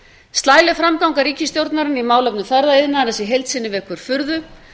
slæleg framganga ríkisstjórnarinnar í málefnum ferðaiðnaðarins í heild sinni vekur furðu